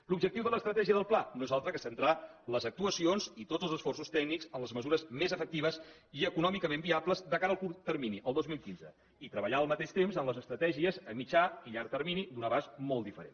l’objectiu de l’estratègia del pla no és altre que centrar les actuacions i tots els esforços tècnics en les mesures més efectives i econòmicament viables de cara al curt termini el dos mil quinze i treballar al mateix temps en les estratègies a mitjà i llarg termini d’un abast molt diferent